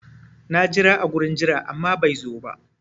Na jira a gurin jira amma bai zo ba.